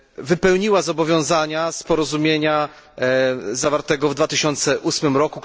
wypełniła zobowiązania z porozumienia zawartego w 2008 r.,